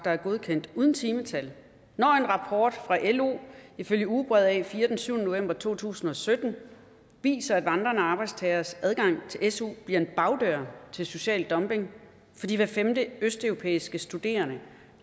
er godkendt uden timetal når en rapport fra lo ifølge ugebrevet a4 den syvende november to tusind og sytten viser at vandrende arbejdstageres adgang til su bliver en bagdør til social dumping fordi hver femte østeuropæiske studerende